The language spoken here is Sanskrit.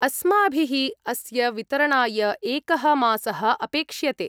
अस्माभिः अस्य वितरणाय एकः मासः अपेक्ष्यते।